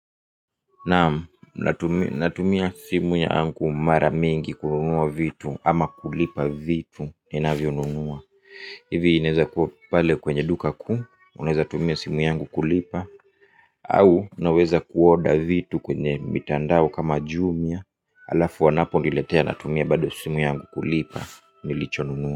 Naam, natumia simu yangu mara mingi kununua vitu ama kulipa vitu ni navyo nunua ivi inaeza kuwa pale kwenye duka kuu, unaeza tumia simu yangu kulipa au naweza kuoda vitu kwenye mitandao kama jumia. Alafu wanapo niletea natumia bado simu yangu kulipa nilicho nunua.